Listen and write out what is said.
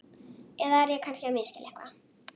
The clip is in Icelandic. Eða er ég kannski að misskilja eitthvað?